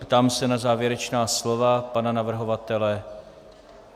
Ptám se na závěrečná slova pana navrhovatele.